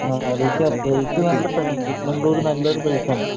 അറിയിക്കാം. പ്ലയിസ് നല്ല സ്ഥലമാണ്‌ ചിക്ക് മഗ്ളൂര് നല്ലൊരു പ്ലയിസ് ആണ്.